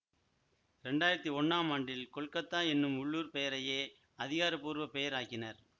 இரண்டாயிரத்தி ஒன்னாம் ஆண்டில் கொல்கத்தா என்னும் உள்ளூர் பெயரையே அதிகாரபூர்வப் பெயர் ஆக்கினர்